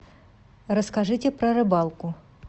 расскажите про рыбалку